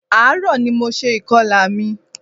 Ààrò ní mo ṣe ìkọlà mi.